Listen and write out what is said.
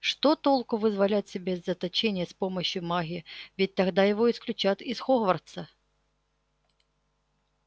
что толку вызволять себя из заточения с помощью магии ведь тогда его исключат из хогвартса